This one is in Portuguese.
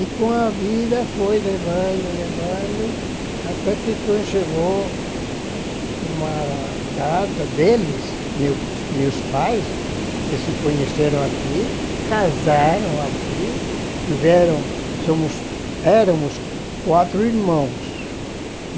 E com a vida foi levando, levando, até que quando chegou uma data deles, meu meus pais, que se conheceram aqui, casaram aqui, tiveram, somos, éramos quatro irmãos.